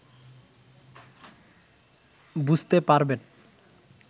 বুঝতে পারবেন